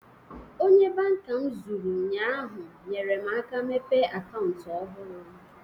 Onye banka m zụrụ ụnyaahụ, nyere m aka mepee akantu ọhụrụ